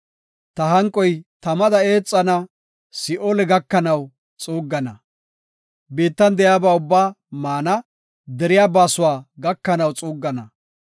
Ta hanqoy tamada eexana; Si7oole gakanaw xuuggana. Biittan de7iyaba ubbaa maana, deriya baasuwa gakanaw xuuggana.